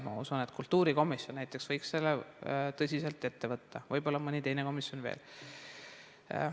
Ma usun, et kultuurikomisjon näiteks võiks selle tõsiselt ette võtta, võib-olla mõni teine komisjon veel.